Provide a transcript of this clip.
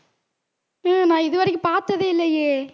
உம் நான் இது வரைக்கும் பாத்ததே இல்லையே